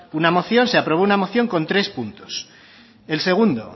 una moción se aprobó una moción con tres puntos el segundo